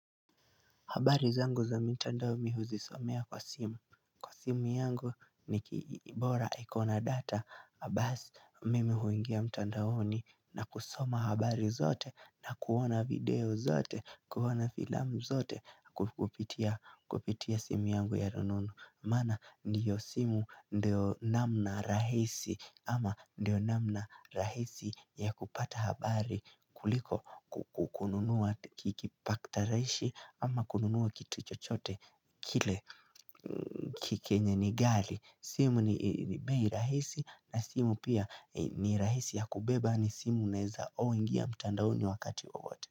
Habari zangu za mitandao mimi huzisomea kwa simu, Kwa simu yangu, ni ki bora iko na data, basi mimi huingia mtandaoni na kusoma habari zote na kuona video zote, kuona filamu zote kupitia Kupitia simu yangu ya rununu. Maana ndiyo simu, ndio namna rahisi ama ndio namna rahisi ya kupata habari kuliko kukununua ki kipaktaraishi ama kununua kitu chochote kile ki kenye ni ghali. Simu ni bei rahisi, na simu pia ni rahisi ya kubeba ni simu uneza oh ingia mtandaoni wakati wowote.